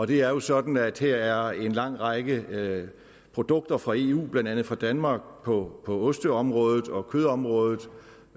det er jo sådan at her er en lang række produkter fra eu blandt andet fra danmark på osteområdet og kødområdet